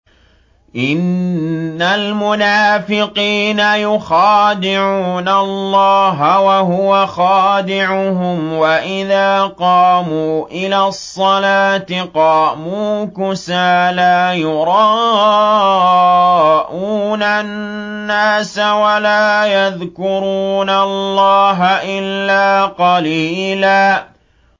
إِنَّ الْمُنَافِقِينَ يُخَادِعُونَ اللَّهَ وَهُوَ خَادِعُهُمْ وَإِذَا قَامُوا إِلَى الصَّلَاةِ قَامُوا كُسَالَىٰ يُرَاءُونَ النَّاسَ وَلَا يَذْكُرُونَ اللَّهَ إِلَّا قَلِيلًا